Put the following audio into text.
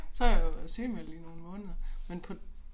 Så har jeg jo været sygemeldt i nogle måneder men på